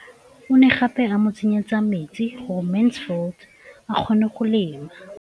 O ne gape a mo tsenyetsa metsi gore Mansfield a kgone go lema.